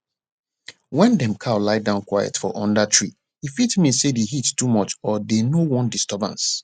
wen dem cow lie down quiet for under tree e fit mean say the heat too much or dey no wan disturbance